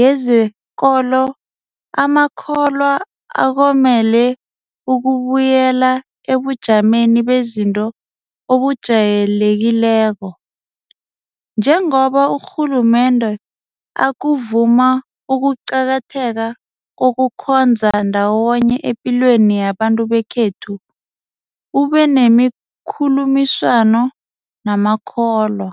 yezekolo amakholwa akomele ukubuyela ebujameni bezinto obujayelekileko. Njengoba urhulumende akuvuma ukuqakatheka kokukhonza ndawonye epilweni yabantu bekhethu, ubenemikhulumiswano namakholwa.